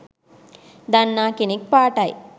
දන්නා කෙනෙක් පාටයි.